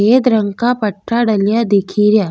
एक रंग का पठ्ठा डलीआ दिखे रिया।